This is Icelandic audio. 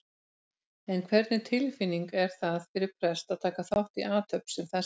En hvernig tilfinning er það fyrir prest að taka þátt í athöfn sem þessari?